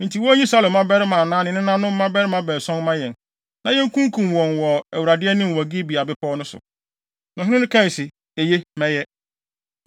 Enti wonyi Saulo mmabarima anaa ne nananom mmarima baason mma yɛn, na yebekum wɔn wɔ Awurade anim wɔ Gibea bepɔw no so.” Ɔhene no kaa se, “Eye. Mɛyɛ.”